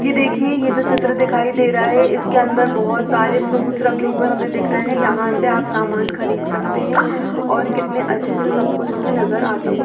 ये देखिए यह जो चित्र दिखाई दे रहा है इसके अंदर बहोत सारे फ्रूट्स रखे हुए हमें दिख रहे हैं यहां से आप सामान खरीद सकते हैं और कितने अच्छे से सब कुछ हमें नजर आता हुआ--